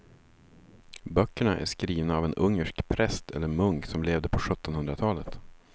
Böckerna är skrivna av en ungersk präst eller munk som levde på sjuttonhundratalet.